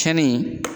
Cɛnni